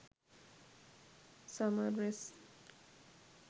summer dress